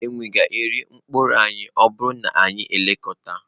Enwe ga-eri mkpụrụ anyị bụ anyị anaghị elekọta.